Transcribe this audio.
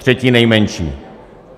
Třetí nejmenší.